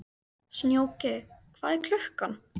Snjóki, hvað er klukkan?